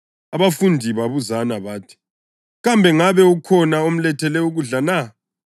Abafundi babuzana bathi, “Kambe ngabe ukhona omlethele ukudla na?”